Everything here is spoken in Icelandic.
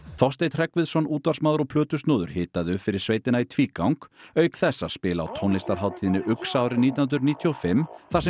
Þorsteinn Hreggviðsson útvarpsmaður og plötusnúður hitaði upp fyrir sveitina í tvígang auk þess að spila á tónlistarhátíðinni uxa árið nítján hundruð níutíu og fimm þar sem